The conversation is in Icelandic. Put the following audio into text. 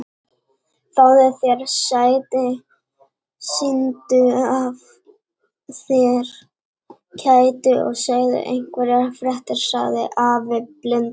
Fáðu þér sæti, sýndu af þér kæti og segðu einhverjar fréttir sagði afi blindi.